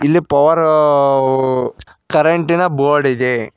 ಇಲ್ಲಿ ಪವರ್ ಕರೆಂಟಿನ ಬೋರ್ಡ್ ಇದೆ.